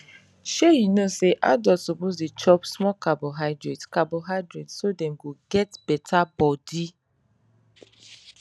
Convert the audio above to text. shey you know say adult suppose de chop small carbohydrate carbohydrate so dem go get better body